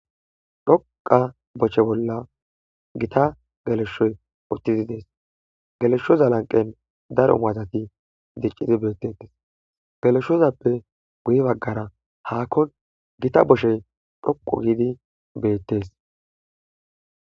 Dhoqa boche bolla gita geleshshoy uttizi dees geleshshoza lanqen daro maazati diccidi beettetes geleshozappe guye baggara haakko gita boshey dhoqu giidi beettes;